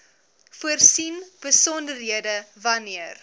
voorsien besonderhede wanneer